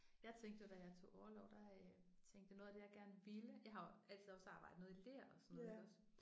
Jeg tænkte jo da jeg tog orlov der øh tænkte jeg noget af det jeg gerne ville jeg har jo altid også arbejdet noget i ler og sådan noget iggås